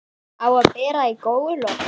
Á að bera í góulok.